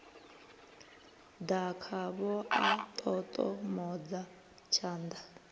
ḓa khavho a ṱoṱomodza tshanḓa